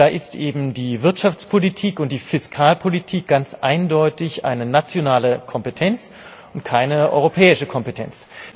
Und da ist eben die Wirtschaftspolitik und die Fiskalpolitik ganz eindeutig eine nationale und keine europäische Kompetenz.